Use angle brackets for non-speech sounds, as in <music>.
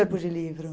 <unintelligible> de livro?